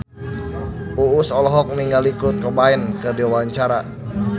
Uus olohok ningali Kurt Cobain keur diwawancara